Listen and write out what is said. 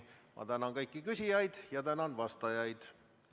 Ma tänan kõiki küsijaid ja tänan vastajaid.